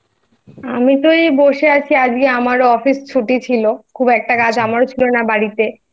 আমি তো এই বসে আছি আজকে আমারও Office ছুটি ছিল আচ্ছা একটা কাজ আমারও ছিল না বাড়িতে